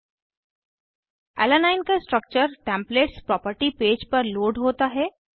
alanine alanine का structure templates property page पर load होता है